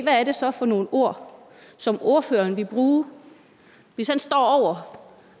hvad er det så for nogle ord som ordføreren vil bruge hvis han står over